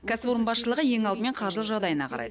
кәсіпорын басшылығы ең алдымен қаржылық жағдайына қарайды